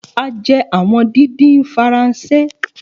A jẹ awọn didin Faranse.